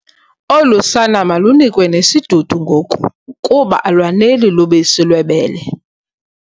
Olu sana malunikwe nesidudu ngoku kuba alwaneli lubisi lwebele.